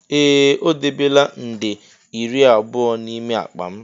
Ee! O debela nde iri abụọ n'ime akpa m.